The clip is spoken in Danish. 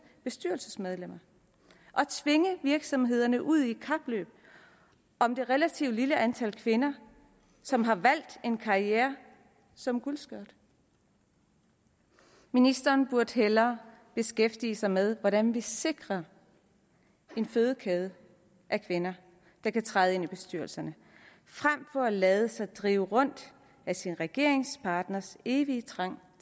bestyrelsesmedlemmer og tvinge virksomhederne ud i et kapløb om det relativt lille antal kvinder som har valgt en karriere som guldskørt ministeren burde hellere beskæftige sig med hvordan vi sikrer en fødekæde af kvinder der kan træde ind i bestyrelserne frem for at lade sig drive rundt af sin regeringspartners evige trang